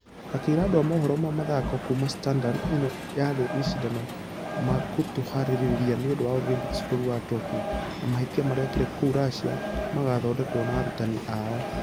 Akĩra andũ a mohoro ma mĩthako kuuma standard ĩno yarĩ mashidano makũtũharĩria nĩũndũ wa olympics bũrũri wa tokyo na mahĩtia marĩkire kũurussia nĩmagqthondekwo na arutani ao.